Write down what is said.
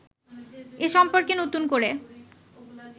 এ সম্পর্কে নতুন করে